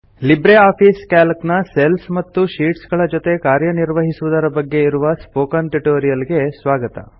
Libre office Calc ನ cells ಮತ್ತು sheets ಗಳ ಜೊತೆ ಕಾರ್ಯ ನಿರ್ವಹಿಸುವುದರ ಬಗ್ಗೆ ಇರುವ ಸ್ಪೋಕನ್ ಟ್ಯುಟೋರಿಯಲ್ ಗೆ ಸ್ವಾಗತ